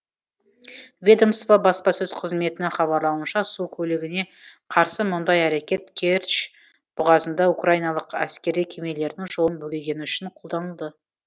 ведомство баспасөз қызметінің хабарлауынша су көлігіне қарсы мұндай әрекет керчь бұғазында украиналық әскери кемелердің жолын бөгегені үшін қолданылды